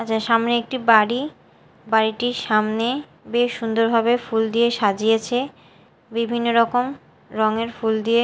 সামনে একটি বাড়ি বাড়িটির সামনে বেশ সুন্দরভাবে ফুল দিয়ে সাজিয়েছে বিভিন্নরকম রঙের দিয়ে--